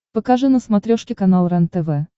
покажи на смотрешке канал рентв